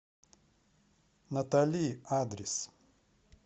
натали адрес